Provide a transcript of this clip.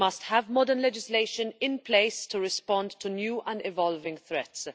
We must have modern legislation in place to respond to new and evolving threats.